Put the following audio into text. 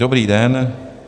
Dobrý den.